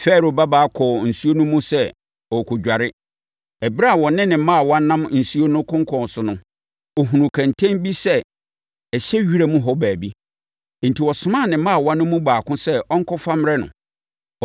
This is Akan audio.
Farao babaa kɔɔ nsuo no mu sɛ ɔrekɔdware. Ɛberɛ a ɔne ne mmaawa nam asuo no konkɔn so no, ɔhunuu kɛntɛn no sɛ ɛhyɛ wiram hɔ baabi, enti ɔsomaa ne mmaawa no mu baako sɛ ɔnkɔfa mmrɛ no.